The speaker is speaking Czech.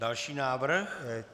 Další návrh.